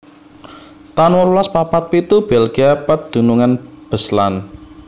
taun wolulas papat pitu Belgia pedunungan Beslan